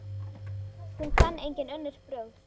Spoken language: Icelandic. Hún kann engin önnur brögð.